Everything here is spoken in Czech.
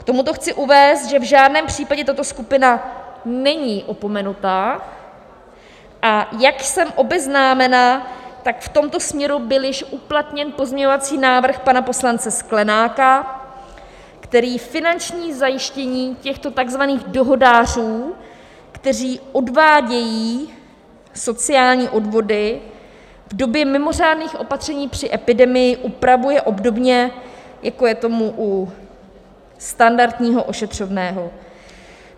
K tomuto chci uvést, že v žádném případě tato skupina není opomenuta, a jak jsem obeznámena, tak v tomto směru byl již uplatněn pozměňovací návrh pana poslance Sklenáka, který finanční zajištění těchto takzvaných dohodářů, kteří odvádějí sociální odvody, v době mimořádných opatření při epidemii upravuje obdobně, jako je tomu u standardního ošetřovného.